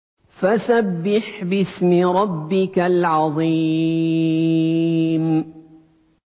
فَسَبِّحْ بِاسْمِ رَبِّكَ الْعَظِيمِ